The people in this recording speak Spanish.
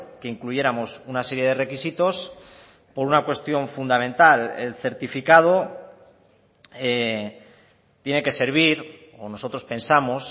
que incluyéramos una serie de requisitos por una cuestión fundamental el certificado tiene que servir o nosotros pensamos